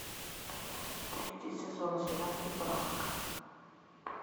третий сезон сериал чебурашка